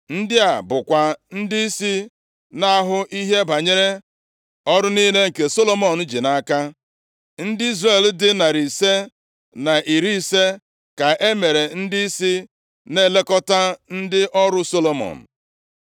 Ndị a bụkwa ndịisi na-ahụ ihe banyere ọrụ niile nke Solomọn ji nʼaka. Ndị Izrel dị narị ise na iri ise (550), ka e mere ndịisi na-elekọta ndị ọrụ Solomọn.